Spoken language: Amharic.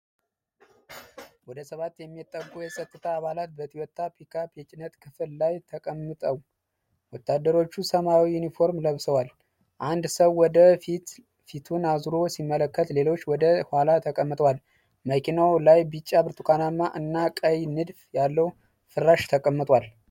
ወደ ሰባት የሚጠጉ የጸጥታ አባላት በቶዮታ ፒክአፕ የጭነት ክፍል ላይ ተቀምጠው። ወታደሮቹ ሰማያዊ ዩኒፎርም ለብሰዋል። አንድ ሰው ወደ ፊትፊቱን አዙሮ ሲመለከት፣ ሌሎች ወደ ኋላ ተቀምጠዋል። መኪናው ላይ ቢጫ፣ ብርቱካናማ እና ቀይ ንድፍ ያለው ፍራሽ ተቀምጧል።